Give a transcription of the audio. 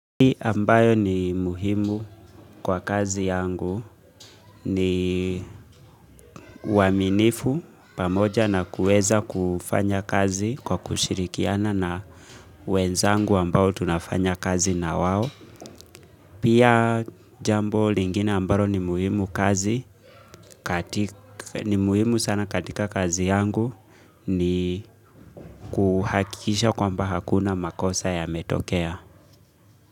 Hii ambayo ni muhimu kwa kazi yangu ni waminifu pamoja na kueza kufanya kazi kwa kushirikiana na wenzangu ambayo tunafanya kazi nawawo. Pia jambo lingine ambayo ni muhimu kazi, ni muhimu sana katika kazi yangu ni kuhakisha kwamba hakuna makosa yametokea.